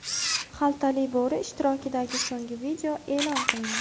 Xaltali bo‘ri ishtirokidagi so‘nggi video e’lon qilindi.